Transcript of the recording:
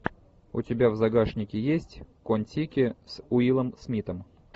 у тебя в загашнике есть кон тики с уиллом смитом